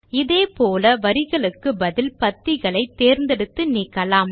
இதே போல வரிகளுக்கு பதில் பத்திகளை தேர்ந்தெடுத்து நீக்கலாம்